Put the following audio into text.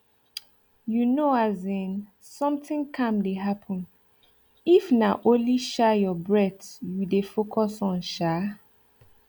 you know as in something calm dey happen if na only um your breath you dey focus on um